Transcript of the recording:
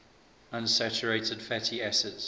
unsaturated fatty acids